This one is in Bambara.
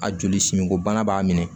A joli simiko bana b'a minɛ